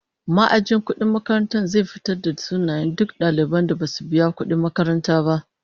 Ma'ajin kudin makarantar zai fitarvda sunayen duk daliban da basu biya kudin makaranta ba